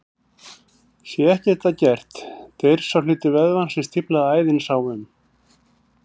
Sé ekkert að gert deyr sá hluti vöðvans sem stíflaða æðin sá um.